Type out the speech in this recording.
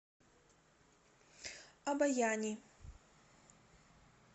обояни